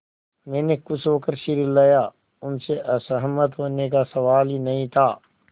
मैंने खुश होकर सिर हिलाया उनसे असहमत होने का सवाल ही नहीं था